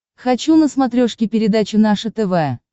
хочу на смотрешке передачу наше тв